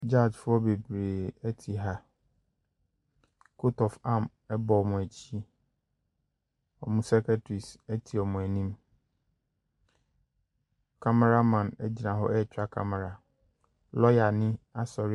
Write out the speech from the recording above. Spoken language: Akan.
Judgefoɔ bebree te ha, coat of arms bɔ wɔn akyi. Wɔn secretaries atena wɔn anim. Cameraman gyina hɔ ɛretwa camera. Lɔɔyani asɔre .